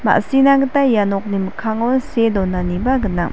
ma·sina gita ia nokni mikkango see donaniba gnang.